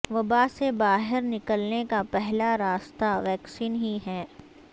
وبا سے باہر نکلنے کا پہلا راستہ ویکسین ہی ہے